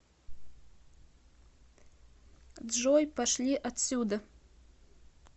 джой пошли отсюда